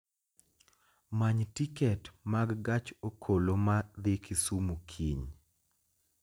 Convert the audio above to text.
Many tiket mag gach okoloma dhi Kisumu kiny